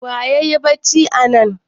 Wa yayi bacci anan?